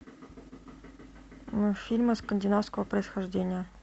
мультфильмы скандинавского происхождения